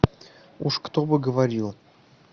уж кто бы говорил